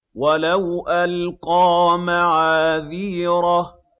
وَلَوْ أَلْقَىٰ مَعَاذِيرَهُ